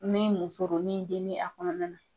Ni muso don ni den bɛ a kɔnɔna na.